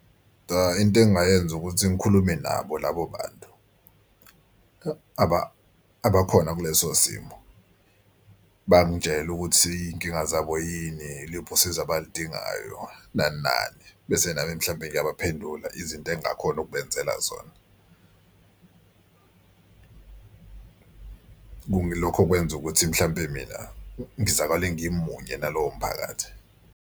Into engingayenza ukuthi ngikhulume nabo labo bantu abakhona kuleso simo bangitshela ukuthi iy'nkinga zabo yini iliphi usizo abaludingayo nani nani. Bese nami mhlawumbe ngiyaphendula izinto engingakhona ukubenzela zona. Lokho kwenza ukuthi mhlawumpe mina ngizakale ngimunye nalowo mphakathi.